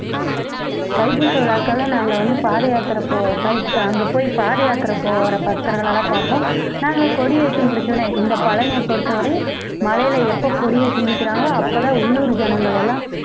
தைப்பூச விழாக்கள்னா நாங்க வந்து பாதயாத்திரை போவோம் தை~ அங்க போய் பாதயாத்திரை போற பக்தர்களெல்லாம் பாப்போம் நாங்க கொடியேத்தி முடிச்சவுடனே இந்த பழனியை பொறுத்தவரையும் மலையில எப்ப கொடி ஏத்தி முடிக்கறாங்களோ அப்பதான் உள்ளூர் ஜனங்களெல்லாம்